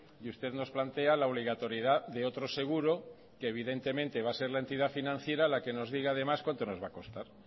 y usted nos plantea la obligatoriedad de otros seguro que evidentemente va a ser la entidad financiera la que nos diga además cuánto nos va a costar